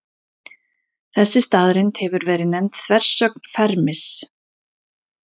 Þessi staðreynd hefur verið nefnd þversögn Fermis.